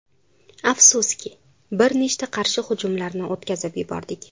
Afsuski, bir nechta qarshi hujumlarni o‘tkazib yubordik.